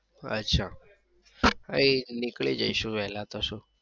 અચ્છા હા એ જ નીકળી જઈશું વેલા તો શું